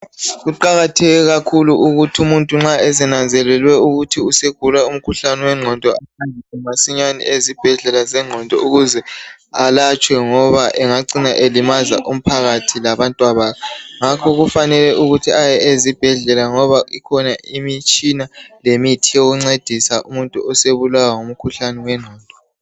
Kuqakatheke kakhulu ukuthi umuntu nxa esenanzelelwe ukuthi usegula umkhuhlane wengqondo masinyane ezibhedlela zengqondo ukuze alatshwe ngoba engacina elimaza umphakathi labantwabakhe ngakho kufanele ukuthi aye ezibhedlela ngoba ikhona imitshina lemithi yokuncedisa umuntu osebulawa ngumkhuhlane wengqondo.